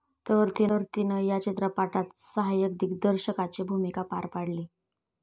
तर, तिनं या चित्रपाटात सहाय्यक दिग्दर्शकाची भुमिका पार पाडली.